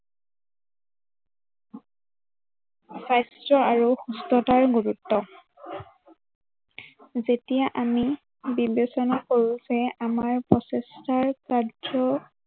স্বাস্থ্য় আৰু সুস্থতাৰ গুৰুত্ব। যেতিয়া আমি বিবেচনা কৰো যে, আমাৰ প্ৰচেষ্টাৰ স্বাস্থ্য়